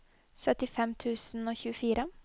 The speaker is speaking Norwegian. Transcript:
syttifem tusen og tjuefire